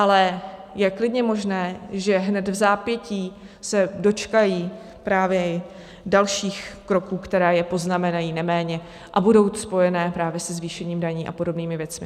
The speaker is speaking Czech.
Ale je klidně možné, že hned vzápětí se dočkají právě i dalších kroků, které je poznamenají neméně a budou spojené právě se zvýšením daní a podobnými věcmi.